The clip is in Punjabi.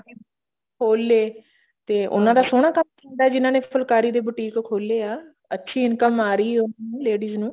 ਖੋਲ ਲਏ ਤੇ ਉਹਨਾਂ ਦਾ ਸੋਹਣਾ ਕੰਮ ਚੱਲਦਾ ਜਿਹਨਾ ਨੇ ਫੁਲਕਾਰੀ ਦੇ boutique ਖੋਲੇ ਆ ਅੱਛੀ income ਆ ਰਹੀ ਐ ladies ਨੂੰ